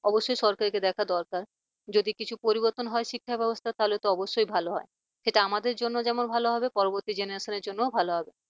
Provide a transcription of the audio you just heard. অবশ্যই সরকারকে দেখা দরকার যদি কিছু পরিবর্তন হয় শিক্ষা ব্যবস্থার তাহলে তো অবশ্যই ভালো হয় সেটা আমাদের জন্য যেমন ভাল হবে পরবর্তী generation র জন্য ভালো হবে।